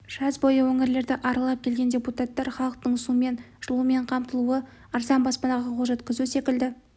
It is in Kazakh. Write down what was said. жаз бойы өңірлерді аралап келген депутаттар халықтың сумен жылумен қамтылуы арзан баспанаға қол жеткізу секілді